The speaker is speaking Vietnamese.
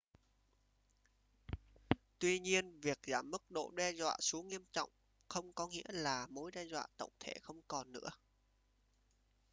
tuy nhiên việc giảm mức độ đe dọa xuống nghiêm trọng không có nghĩa là mối đe dọa tổng thể không còn nữa